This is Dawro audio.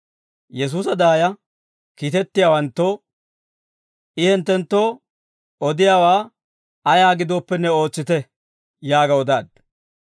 Yesuusa daaya kiitettiyaawanttoo, «I hinttenttoo odiyaawaa ayaa gidooppenne ootsite» yaaga odaaddu.